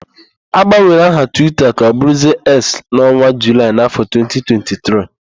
Agbanwere aha Twita ka ọbụrụzie Eks n'ọnwa Julaị n'áfọ̀ 2023.